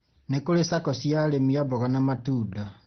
Nĩ kũrĩ SACCO cia arĩmi a mboga na matunda